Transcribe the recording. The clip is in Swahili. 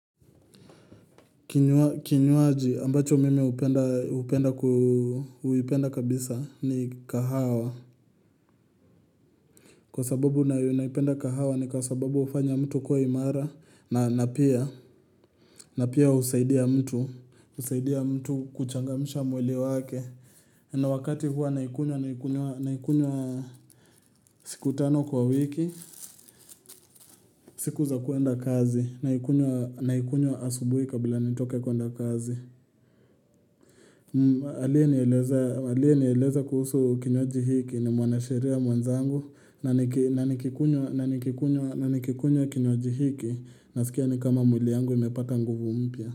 Kinywaji ambacho mimi hupenda kabisa ni kahawa. Kwa sababu naipenda kahawa ni kwa sababu hufanya mtu kuwa imara na pia husaidia mtu. Husaidia mtu kuchangamsha mwili wake. Na wakati huwa naikunywa naikunywa siku tano kwa wiki. Siku za kuenda kazi. Naikunywa asubuhi kabla nitoke kuenda kazi. Aliye nieleza kuhusu kinywaji hiki ni mwanasheria mwenzangu na nikikunywa kinywaji hiki nasikia ni kama mwili yangu imepata nguvu mpya.